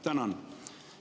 Tänan!